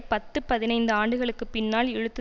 பத்து பதினைந்து ஆண்டுகளுக்கு பின்னால் இழுத்து